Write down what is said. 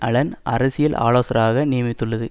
Alan அரசியல் ஆலோசகராக நியமித்துள்ளது